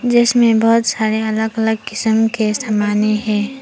इसमें बहोत सारे अलग अलग किसीम के समाने है।